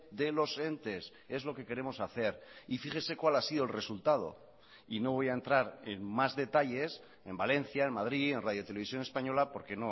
de los entes es lo que queremos hacer y fíjese cuál ha sido el resultado y no voy a entrar en más detalles en valencia en madrid en radio televisión española porque